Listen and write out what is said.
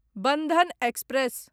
Bandhan express